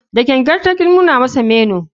Da gangan ta ki nuna masa menu.